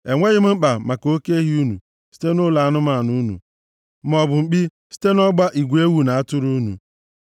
Enweghị m mkpa maka oke ehi unu site nʼụlọ anụmanụ unu maọbụ mkpi site nʼọgba igwe ewu na atụrụ unu,